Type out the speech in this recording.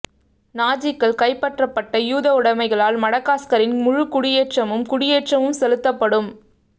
நாஜிக்கள் கைப்பற்றப்பட்ட யூத உடைமைகளால் மடகாஸ்கரின் முழு குடியேற்றமும் குடியேற்றமும் செலுத்தப்படும்